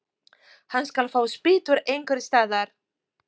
Hann skal fá spýtur einhvers staðar.